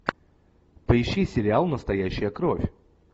поищи сериал настоящая кровь